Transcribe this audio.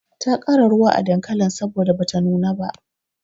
Ta ƙara ruwa a dankalin saboda bata nuna ba.